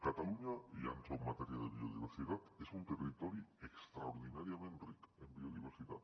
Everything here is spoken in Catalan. catalunya i ja entro en matèria de biodiversitat és un territori extraordinàriament ric en biodiversitat